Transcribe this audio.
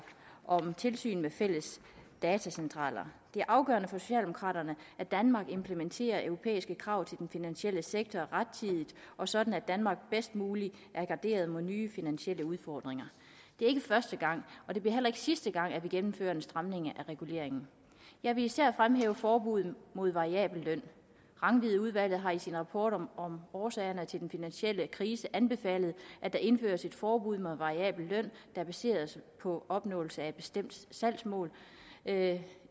om tilsyn med fælles datacentraler det er afgørende for socialdemokraterne at danmark implementerer europæiske krav til den finansielle sektor rettidigt og sådan at danmark bedst mulig er garderet mod nye finansielle udfordringer det er ikke første gang og det bliver heller ikke sidste gang vi gennemfører en stramning af reguleringen jeg vil især fremhæve forbuddet mod variabel løn rangvidudvalget har i sin rapport om om årsagerne til den finansielle krise anbefalet at der indføres et forbud mod variabel løn der baseres på opnåelse af et bestemt salgsmål